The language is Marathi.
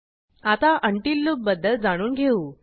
आता उंटील लूपबद्दल जाणून घेऊ